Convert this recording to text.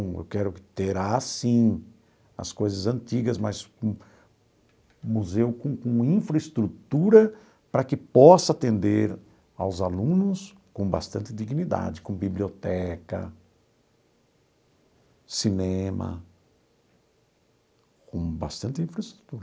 Eu quero ter, assim, as coisas antigas, mas com um museu com com infraestrutura para que possa atender aos alunos com bastante dignidade, com biblioteca, cinema, com bastante infraestrutura.